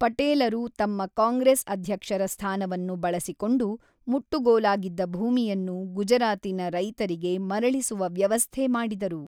ಪಟೇಲರು ತಮ್ಮ ಕಾಂಗ್ರೆಸ್ ಅಧ್ಯಕ್ಷರ ಸ್ಥಾನವನ್ನು ಬಳಸಿಕೊಂಡು ಮುಟ್ಟುಗೋಲಾಗಿದ್ದ ಭೂಮಿಯನ್ನು ಗುಜರಾತಿನ ರೈತರಿಗೆ ಮರಳಿಸುವ ವ್ಯವಸ್ಥೆ ಮಾಡಿದರು.